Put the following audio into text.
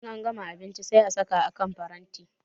In an gama abinchi sai a saka a kan paranti